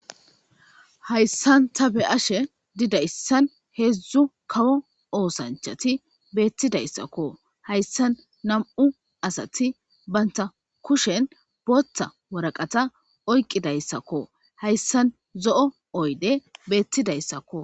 Hayssan ta beashe diizayssan heezhzu kawo ossanchati bettidayssako hayssan nam'u assati bantta kushshen bootha waraqqata okkidayssako hayssan zo'o oyddey bettidayssako.